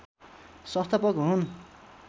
संस्थापक हुन्